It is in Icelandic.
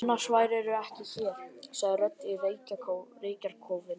Annars værirðu ekki hér, sagði rödd í reykjarkófinu.